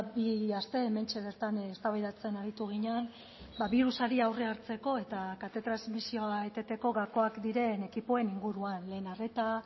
bi aste hementxe bertan eztabaidatzen aritu ginen birusari aurrea hartzeko eta kate transmisioa eteteko gakoak diren ekipoen inguruan lehen arreta